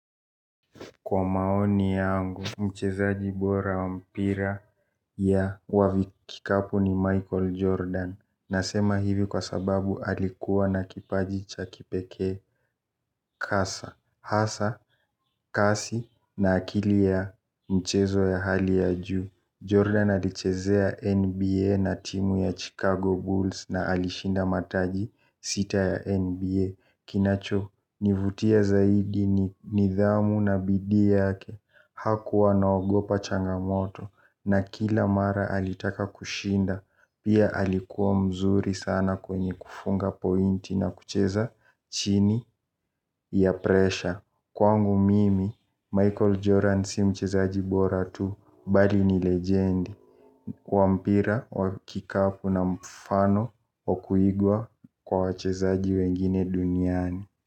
Kwa maoni yangu, mchezaji bora wa mpira ya kikapu ni Michael Jordan. Nasema hivi kwa sababu alikuwa na kipaji cha kipekee kasa. Hasa, kasi na akili ya mchezo ya hali ya juu Jordan alichezea NBA na timu ya Chicago Bulls na alishinda mataji sita ya NBA. Kinachonivutia zaidi ni nidhamu na bidii yake. Hakuwa anaogopa changamoto na kila mara alitaka kushinda, pia alikuwa mzuri sana kwenye kufunga pointi na kucheza chini ya presha. Kwangu mimi, Michael Jordan si mchezaji bora tu, bali ni lejendi. Wa mpira wa kikapu na mfano wa kuigwa kwa wachezaji wengine duniani.